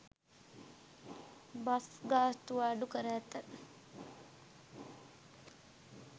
Bus ගාස්තු අඩු කර ඇත.